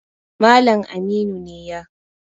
Malam Aminu ne ya